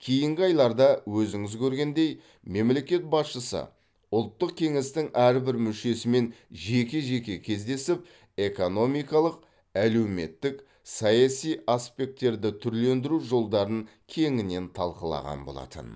кейінгі айларда өзіңіз көргендей мемлекет басшысы ұлттық кеңестің әрбір мүшесімен жеке жеке кездесіп экономикалық әлеуметтік саяси аспекттерді түрлендіру жолдарын кеңінен талқылаған болатын